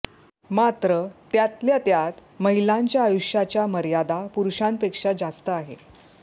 मात्र त्यातल्या त्यात महिलांच्या आयुष्याच्या मर्यादा पुरुषांपेक्षा जास्त आहे